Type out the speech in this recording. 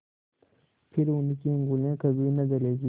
फिर उनकी उँगलियाँ कभी न जलेंगी